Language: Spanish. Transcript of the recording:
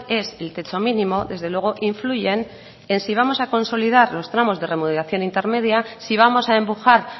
es el techo mínimo desde luego influyen en si vamos a consolidar los tramos de remuneración intermedia si vamos a empujar